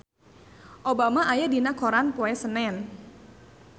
Obama aya dina koran poe Senen